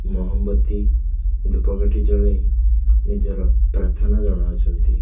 ମହବତୀ ଦୂପକାଠି ଜଳାଇ ନିଜର ପ୍ରାର୍ଥନା ଜଣାଉଛନ୍ତି।